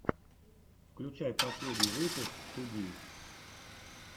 включай последний выпуск туди